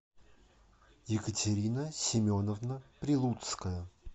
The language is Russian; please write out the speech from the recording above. екатерина семеновна прилуцкая